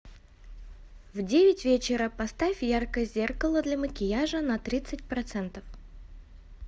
в девять вечера поставь яркость зеркало для макияжа на тридцать процентов